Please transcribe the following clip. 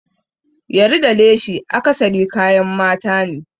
Yari da leshi akasari kayan mata ne.